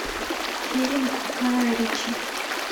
фильм гая ричи